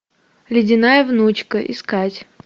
ледяная внучка искать